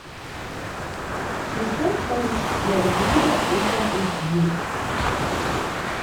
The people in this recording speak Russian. включай париж я люблю тебя ультра эйч ди